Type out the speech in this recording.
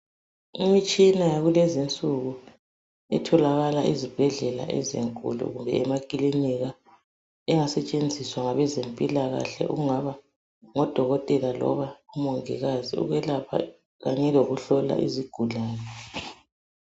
Imitshina yakulezi insuku etholakala ezibhedlela ezinkulu kumbe emaklinika, engasetshenziswa ngabezempilakahle okungaba ngudokotela kumbe umongikazi, ukwelapha kanye lokuhlola izigulani.